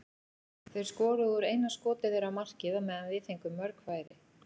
Þeir skoruðu úr eina skoti þeirra á markið á meðan við fengum mörg færi.